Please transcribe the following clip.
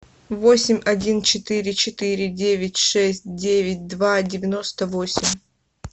восемь один четыре четыре девять шесть девять два девяносто восемь